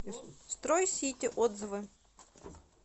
стройсити отзывы